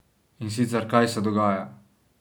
In sicer kaj se dogaja?